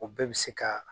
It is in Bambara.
O bɛɛ bɛ se ka